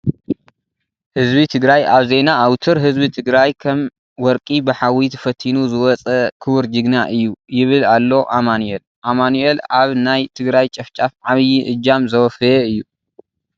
ህዝቢ ትግራይ ኣብ ዜና ኣውትር ህዝቢ ትግራይ ከም ወርቂ ብሓዊ ተፈቲኑ ዝወፀ ክቡር ጅግና እዩ ይብል ኣሎ ኣመኒኤል ። ኣማኑኤል ኣብ ናይ ትግራይ ጨፍጫፍ ዓብይ እጃም ዘወፈየ እዩ።